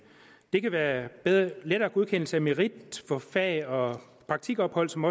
det kan være lettere godkendelse af merit for fag og praktikophold som